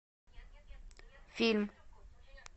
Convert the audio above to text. фильм